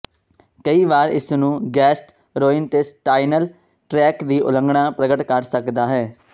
ਕਈ ਵਾਰੀ ਇਸ ਨੂੰ ਗੈਸਟਰ੍ੋਇੰਟੇਸਟਾਈਨਲ ਟ੍ਰੈਕਟ ਦੀ ਉਲੰਘਣਾ ਪ੍ਰਗਟ ਕਰ ਸਕਦਾ ਹੈ